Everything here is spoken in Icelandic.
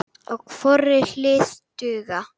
á hvorri hlið duga.